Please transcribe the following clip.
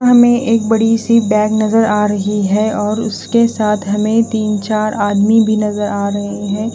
हमें एक बड़ी सी बैग नजर आ रही है और उसके साथ हमें तीन चार आदमी भी नजर आ रहे हैं।